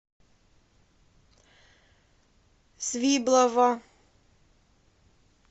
свиблово